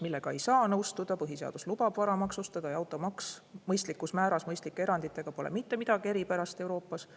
Sellega ei saa nõustuda, põhiseadus lubab vara maksustada ja automaks mõistlikus määras mõistlike eranditega pole mitte midagi eripärast Euroopas.